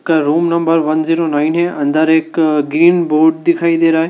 का room number one zero nine है अंदर एक ग्रीन बोर्ड दिखाई दे रहा--